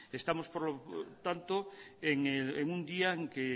estamos por tanto en un día en que